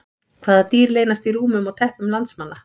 Hvaða dýr leynast í rúmum og teppum landsmanna?